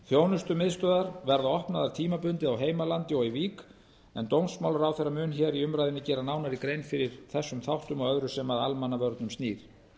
þjónustumiðstöðvar verða opnaðar tímabundið á heimalandi og í vík en dómsmálaráðherra mun í umræðunni gera nánari grein fyrir þessum þáttum og öðru sem að almannavörnum snýr